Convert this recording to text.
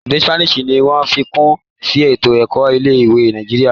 Èdè Sipeeni ní wón ṣàfikún sí eto-ẹkọ ilé-ìwé Nàìjíríà.